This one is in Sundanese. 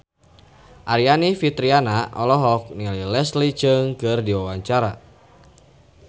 Aryani Fitriana olohok ningali Leslie Cheung keur diwawancara